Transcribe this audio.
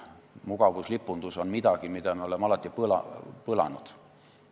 Mugavuslipundus on midagi, mida me oleme alati põlanud.